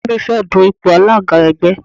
Ìyá mi fẹ́ dun ipò alága ẹgbẹ́.